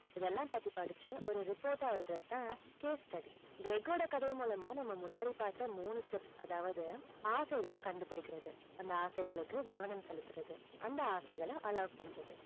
இதை எல்லாம் பத்தி படிச்சு, ஒரு report டா எழுதறது தான் case study கிரெக்கோட கதை மூலமா நம்ம முன்னாடி பார்த்த மூணு steps அதாவது ஆசைகளை கண்டுபிடிக்கிறது, அந்த ஆசைகளுக்கு கவனம் செலுத்துறது. அந்த ஆசைகளை allow பண்றது.